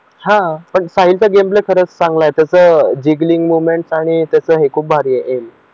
हा पण साहिल चा गेम प्ले खरंच चांगला जी मोमेंट आहे त्याचं आणि हे खूप भारी